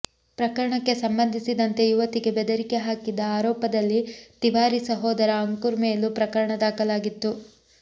ಪ್ರಕರಣಕ್ಕೆ ಸಂಬಂಧಿಸಿದಂತೆ ಯುವತಿಗೆ ಬೆದರಿಕೆ ಹಾಕಿದ ಆರೋಪದಲ್ಲಿ ತಿವಾರಿ ಸಹೋದರ ಅಂಕುರ್ ಮೇಲೂ ಪ್ರಕರಣ ದಾಖಲಾಗಿತ್ತು